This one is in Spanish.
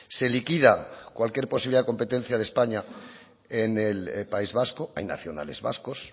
se liquida cualquier posibilidad de competencia de españa en el de país vasco hay nacionales vascos